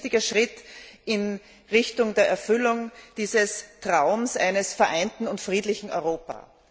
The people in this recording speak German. Es ist ein wichtiger Schritt in Richtung der Erfüllung dieses Traums von einem vereinten und friedlichen Europa.